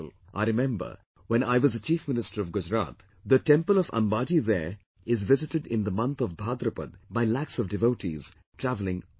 I remember, when I was the Chief Minister of Gujarat the temple of Ambaji there is visited in the month of Bhadrapad by lakhs of devotees travelling by foot